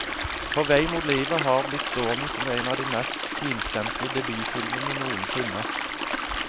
På vei mot livet har blitt stående som en av de mest finstemte debutfilmene noensinne.